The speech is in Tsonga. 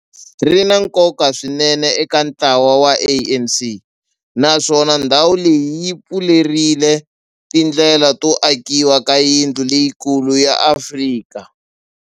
Ri na nkoka swinene eka ntlawa wa ANC, naswona ndhawu leyi yi pfurile tindlela to akiwa ka yindlu leyikulu ya Afrika